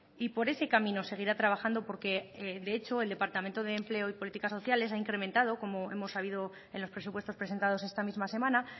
y por ese camino seguirá trabajando porque de hecho el departamento de empleo y políticas sociales ha incrementado como hemos sabido en los presupuestos presentados esta misma semana